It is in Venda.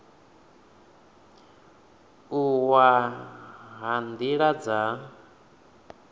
u wa ha nila dza